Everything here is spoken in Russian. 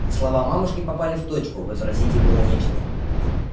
слова мамушки попали в точку возразить было нечего